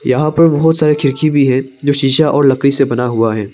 यहां पर बहुत सारे खिड़की भी है जो शीशा और लकड़ी से बना हुआ है।